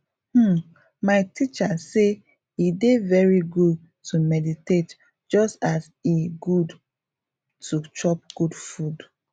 hmm my teacher say e dey very good to meditate just as e good to chop good food